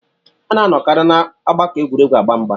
A ná-anọkarị n'ọgbakọ egwuregwu agba mgbà